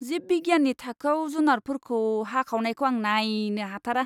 जिब बिगियाननि थाखोयाव जुनारफोरखौ हाखावनायखौ आं नायनो हाथारा।